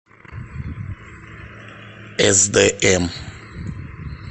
сдм